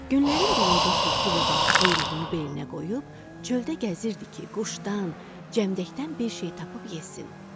Günlərin birində tülkü baba quyruğunu belinə qoyub çöldə gəzirdi ki, quşdan, cəmdəkdən bir şey tapıb yesin.